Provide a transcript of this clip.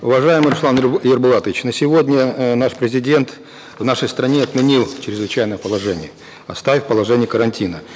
уважаемый руслан ерболатович на сегодня э наш президент в нашей стране отменил чрезвычайное положение оставив положение карантина